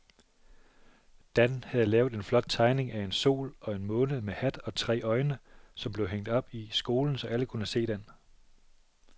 Dan havde lavet en flot tegning af en sol og en måne med hat og tre øjne, som blev hængt op i skolen, så alle kunne se den.